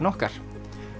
okkar